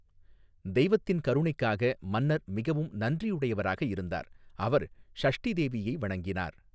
தெய்வத்தின் கருணைக்காக மன்னர் மிகவும் நன்றியுடையவராக இருந்தார், அவர் ஷஷ்டி தேவியை வணங்கினார்.